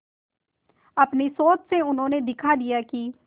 अपनी सोच से उन्होंने दिखा दिया कि